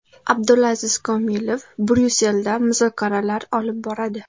Abdulaziz Komilov Bryusselda muzokaralar olib boradi.